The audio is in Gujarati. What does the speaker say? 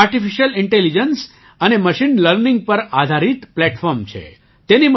તે આર્ટિફિશિયલ ઇન્ટેલિજન્સ અને મશીન લર્નિંગ પર આધારિત પ્લેટફૉર્મ છે